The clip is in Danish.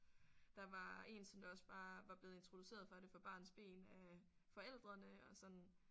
Der var en som der også bare var blevet introduceret for det fra barnsben af forældrene og sådan